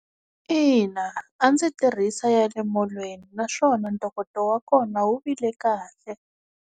Ina, a ndzi tirhisa ya le molweni naswona ntokoto wa kona wu vile kahle.